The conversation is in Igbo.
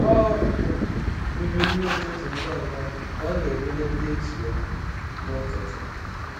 Ọ um riri nri ụtụtụ ngwa ngwa ka ọ na-elele ndetu ya n’ụtụtụ.